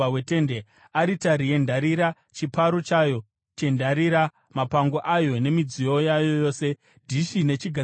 aritari yendarira, chiparo chayo chendarira, mapango ayo nemidziyo yayo yose; dhishi nechigadziko charo;